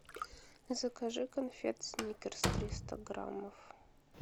закажи конфет сникерс триста граммов